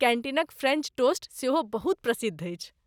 कैन्टीनक French toast सेहो बहुत प्रसिद्ध अछि।